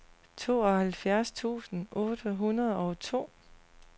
tooghalvfjerds tusind otte hundrede og to